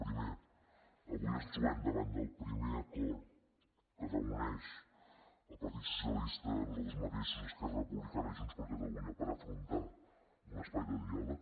primer avui ens trobem davant del primer acord que reuneix el partit socialista nosaltres mateixos esquerra republicana i junts per catalunya per afrontar un espai de diàleg